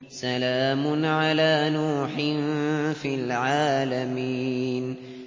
سَلَامٌ عَلَىٰ نُوحٍ فِي الْعَالَمِينَ